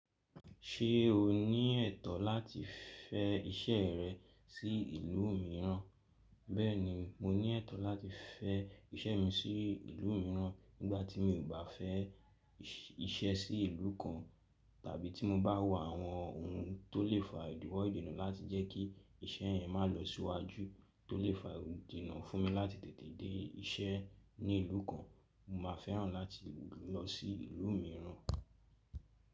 Ṣé o ní ẹ̀tọ́ láti fẹ́ iṣẹ́ rẹ sí ìlú mìíràn? Bẹ́ẹ̀ni, mo ní ẹ̀tọ́ láti fẹ́ iṣẹ́ mi sí ìlú mìíràn nígbàtí mi ò bá fẹ́ iṣẹ́ sí ìlú kan tàbí tí mo bá wò àwọn ohun tó lè fa ìdíwọ́ ìdènà láti jẹ́ kí iṣẹ́ yẹn ma lọ síwájú, tó lè fa ìdènà fún mi láti tètè dé iṣẹ́ ní ìlú kan, mo ma fẹ́ràn láti lọ sí ìlú mìíràn.